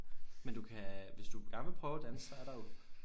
Men du kan hvis du gerne vil prøve at danse så er der jo